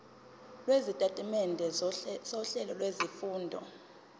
lwesitatimende sohlelo lwezifundo